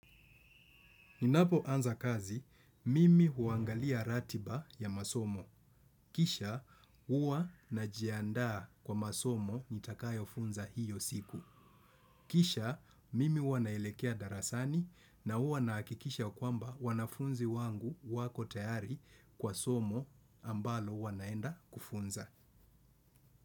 Ninapo anza kazi, mimi huangalia ratiba ya masomo. Kisha, huwa najiandaa kwa masomo nitakayo funza hiyo siku. Kisha, mimi huwanaelekea darasani na huwa nahakikisha kwamba wanafunzi wangu wako tayari kwa somo ambalo huwanaenda kufunza.